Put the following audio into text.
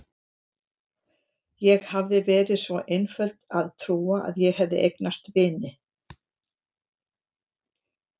Ég hafði verið svo einföld að trúa að ég hefði eignast vini.